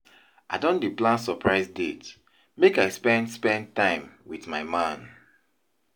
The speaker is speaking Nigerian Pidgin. I don dey plan surprise date make I spend spend time wit my man.